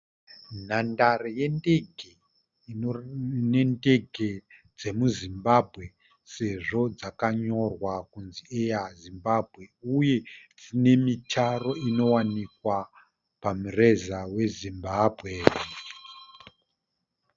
Nhandare yendege, ine ndege dzemuZimbabwe sezvo dzakanyorwa kunzi "Air Zimbabwe" uye dzine mitaro inowanikwa pamureza weZimbabwe.